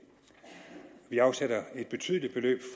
vi afsætter et betydeligt beløb